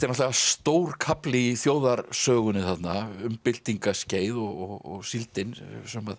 stór kafli í þjóðarsögunni þarna um byltingaskeið og síldin sem að